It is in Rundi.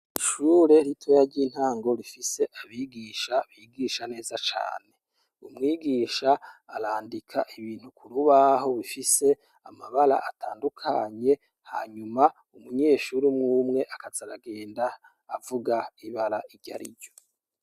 Ishure ritoya ry’intango rifise abigisha bigisha neza cane ,umwigisha arandika ibintu kurubaho bifise amabara atandukanye hanyuma umunyeshure umwe umwe akaza aragenda avuga ibara iryariryo.